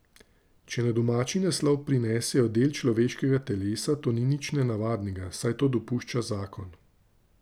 Če na domači naslov prinesejo del človeškega telesa, to ni nič nenavadnega, saj to dopušča zakon.